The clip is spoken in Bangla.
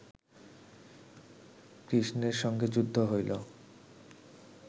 কৃষ্ণের সঙ্গে যুদ্ধ হইল